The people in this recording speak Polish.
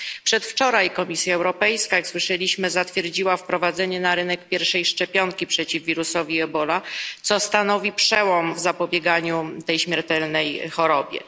Przedwczoraj Komisja Europejska, jak słyszeliśmy, zatwierdziła wprowadzenie na rynek pierwszej szczepionki przeciw wirusowi Ebola, co stanowi przełom w zapobieganiu tej śmiertelnej chorobie.